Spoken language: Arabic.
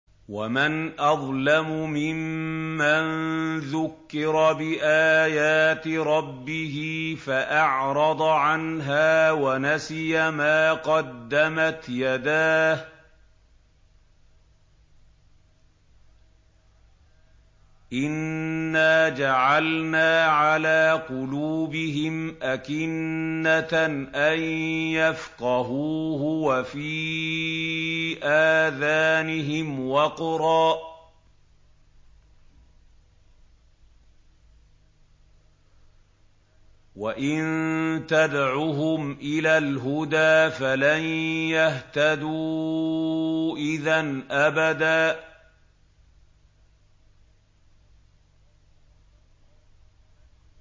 وَمَنْ أَظْلَمُ مِمَّن ذُكِّرَ بِآيَاتِ رَبِّهِ فَأَعْرَضَ عَنْهَا وَنَسِيَ مَا قَدَّمَتْ يَدَاهُ ۚ إِنَّا جَعَلْنَا عَلَىٰ قُلُوبِهِمْ أَكِنَّةً أَن يَفْقَهُوهُ وَفِي آذَانِهِمْ وَقْرًا ۖ وَإِن تَدْعُهُمْ إِلَى الْهُدَىٰ فَلَن يَهْتَدُوا إِذًا أَبَدًا